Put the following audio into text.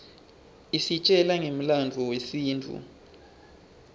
isitjela ngemlandvo yesintfu